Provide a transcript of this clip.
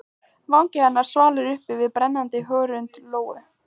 Vangi hennar svalur uppi við brennandi hörund Lóu.